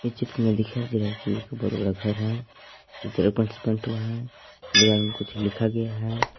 इस चित्र में दिखाई दे रहा है कि एक बहुत बड़ा घर है उजाला पेंट से पेंट हुआ है दीवार में कुछ लिखा गया है।